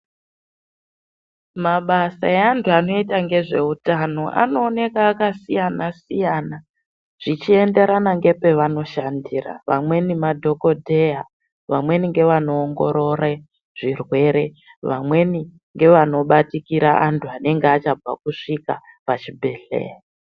Mabasa aantu anoita ngezveutano aNooneka akasiyana siyana zvichienderana ngepaanoshandira vamweni madhokodheya vamweni ngevanoongorore zvirwere vamweni ngevanobatikira antu anenge achabva kusvika pachibhedhleya.